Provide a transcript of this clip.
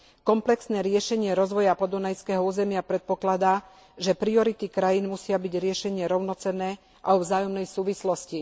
Komplexné riešenie rozvoja podunajského územia predpokladá, že priority krajín musia byť riešené rovnocenne a vo vzájomnej súvislosti.